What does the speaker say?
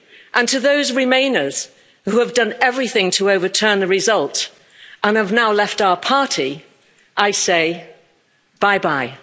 And to those remainers, who have done everything to overturn the result and have now left our party, I say bye bye'.